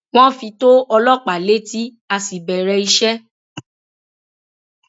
wọn fi tó ọlọpàá létí a sì bẹrẹ iṣẹ